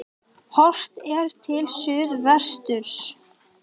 Horft er til suðvesturs.